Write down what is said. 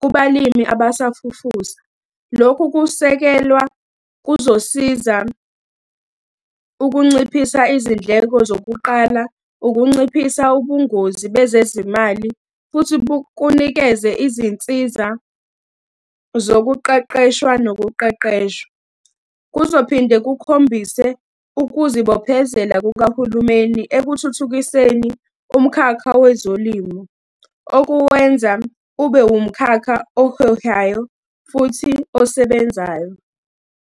kubalimi abasafufusa. Lokhu kusekelwa kuzosiza ukunciphisa izindleko zokuqala, ukunciphisa ubungozi bezezimali, futhi bukunikeza izinsiza zokuqeqeshwa nokuqeqesha. Kuzophinde kukhombise ukuzibophezela kukahulumeni ekuthuthukiseni umkhakha wezolimo, okuwenza ube wumkhakha ohehayo futhi osebenzayo.